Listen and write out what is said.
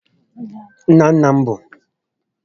Nna nna m b